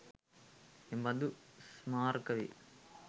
එබඳු ස්මාරක වේ.